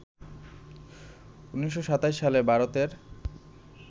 ১৯২৭ সালে ভারতের